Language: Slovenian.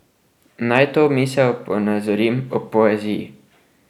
Naj to misel ponazorim ob poeziji.